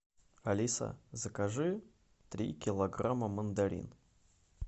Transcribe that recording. алиса закажи три килограмма мандарин